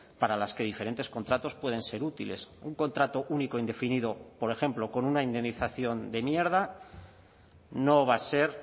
para las que diferentes contratos pueden ser útiles un contrato único indefinido por ejemplo con una indemnización de mierda no va a ser